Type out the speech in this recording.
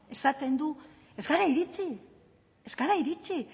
esaten du ez gara iritsi ez gara iritsi